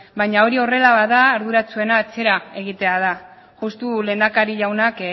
baina hori horrela bada arduratsuena atzera egitea da justu lehendakari jaunak